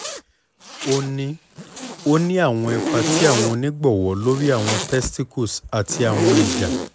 o ni o ni awọn ipa ti awọn onigbọwọ lori awọn testicles ati awọn eja